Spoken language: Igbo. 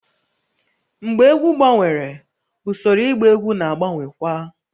Mgbe egwu gbanwere, usoro ịgba egwu na-agbanwekwa